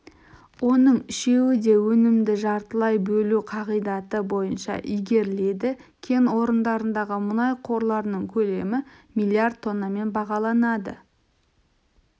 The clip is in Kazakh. оның үшеуі де өнімді жартылай бөлу қағидаты бойынша игеріледі кен орындарындағы мұнай қорларының көлемі миллиард тоннамен бағаланады